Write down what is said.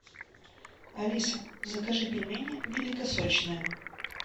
алиса закажи пельмени великосочные